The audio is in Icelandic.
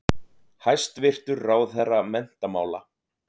Hæstvirtur ráðherra menntamála.